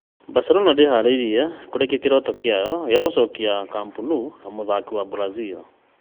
Barcelona ndĩĩharĩirie kũrekia kĩroto kĩayo gĩa gũcokia Nou Camp mũthaki wa Brazil